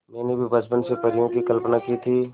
मैंने भी बचपन से परियों की कल्पना की थी